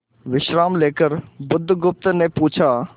विश्राम लेकर बुधगुप्त ने पूछा